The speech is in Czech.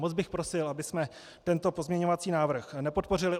Moc bych prosil, abychom tento pozměňovací návrh nepodpořili.